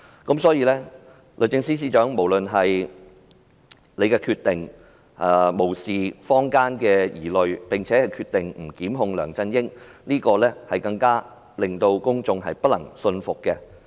因此，律政司司長無視坊間的疑慮，決定不檢控梁振英這點，更難令公眾信服。